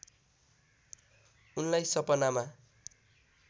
उनलाई सपनामा